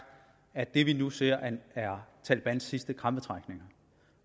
at det vi nu ser er talebans sidste krampetrækninger